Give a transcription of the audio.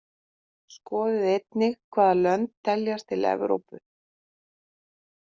Skoðið einnig: Hvaða lönd teljast til Evrópu?